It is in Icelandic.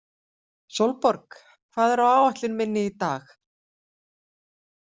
Sólborg, hvað er á áætlun minni í dag?